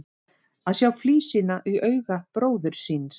Að sjá flísina í auga bróður síns